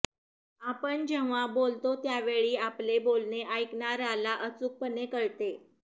आपण जेव्हा बोलतो त्यावेळी आपले बोलणे ऐकणाऱ्याला अचूकपणे कळते